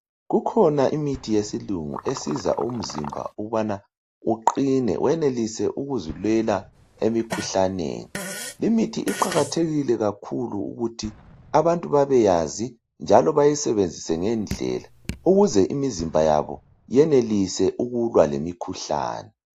kukhona imithi yesilungu esiza umzimba ukubana uqine wenelise ukuzilwela emikhuhlaneni imithi kuqakathekile kakhulu ukubana abantu bebeyazi njalo beyisebenzise ngendlela ukuze imizimba yabo iyenelise ukulwa le mikhuhlane